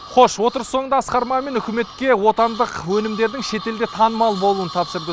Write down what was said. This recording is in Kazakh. хош отырыс соңында асқар мамин үкіметке отандық өнімдердің шет елде танымал болуын тапсырды